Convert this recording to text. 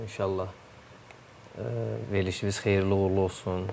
İnşallah verilişimiz xeyirli uğurlu olsun.